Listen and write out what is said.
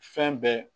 Fɛn bɛɛ